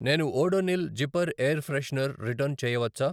నేను Odonil zipper air freshener return చేయవచ్చా?